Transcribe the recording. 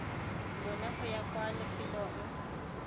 lona go ya kwa lefelong